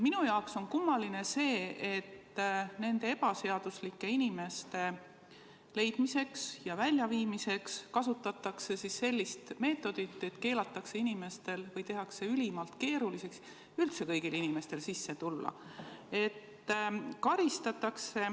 Minu jaoks on kummaline see, et nende ebaseaduslikult siin viibivate inimeste leidmiseks ja väljaviimiseks kasutatakse sellist meetodit, et keelatakse või tehakse ülimalt keeruliseks kõigil inimestel siia tulla.